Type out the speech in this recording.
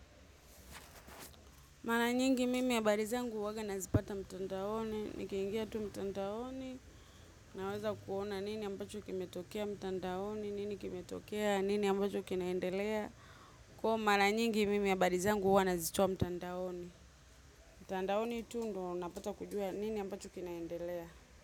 Maranyingi mimi habari zangu huwaga nazipata mtandaoni, nikiingia tu mtandaoni, naweza kuona nini ambacho kimetokea mtandaoni, nini kimetokea, nini ambacho kinaendelea. Kwa maranyingi mimi habari zangu huwa nazitoa mtandaoni, mtandaoni tu ndo napata kujua nini ambacho kinaendelea.